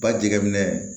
Ba jɛgɛ minɛ